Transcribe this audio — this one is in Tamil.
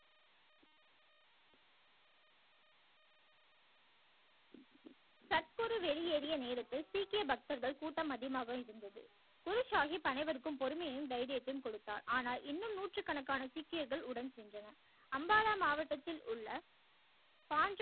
சத் குரு வெளியேறிய நேரத்தில் சீக்கிய பக்தர்கள் கூட்டம் அதிகமாக இருந்தது குரு சாகிப் அனைவர்க்கும் பொறுமையையும் தைரியத்தையும் கொடுத்தார் ஆனால் இன்னும் நூற்று கணக்கான சீக்கியர்கள் உடன் சென்றனர் அம்பாலா மாவட்டத்தில் உள்ள